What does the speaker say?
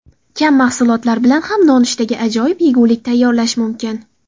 Kam mahsulotlar bilan ham nonushtaga ajoyib yegulik tayyorlash mumkin.